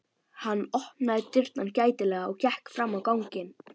Hann opnaði dyrnar gætilega og gekk fram á ganginn.